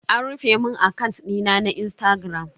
An rufe mun akant dina na Instagram.